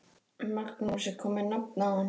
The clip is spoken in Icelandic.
Magnús: Er komið nafn á hann?